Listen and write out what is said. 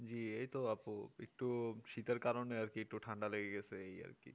জি এইতো আপু একটু শীতের কারণে ঠান্ডা একটু লেগে গেছে এই আর কি